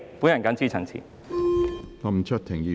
我謹此陳辭。